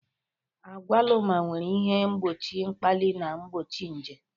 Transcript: Agwaluma nwere ihe mgbochi mkpali na mgbochi nje.